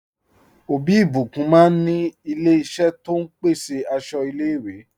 Ọbí Ìbíkún máa ní ilẹ̀ ìṣẹ̀ tó n pèsè àṣọ ilẹ̀-ìwé.